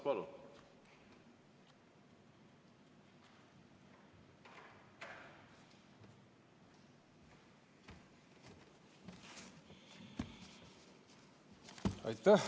Palun!